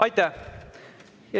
Aitäh!